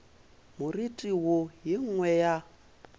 moriti wo ye nngwe ya